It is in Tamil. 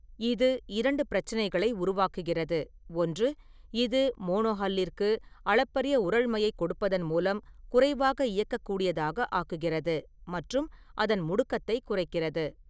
இது இரண்டு பிரச்சினைகளை உருவாக்குகிறது – ஒன்று, இது மோனோஹல்லிற்கு அளப்பரிய உறழ்மையைக் கொடுப்பதான் மூலம் குறைவாக இயக்கக்கூடியதாக ஆக்குகிறது மற்றும் அதன் முடுக்கத்தை குறைக்கிறது.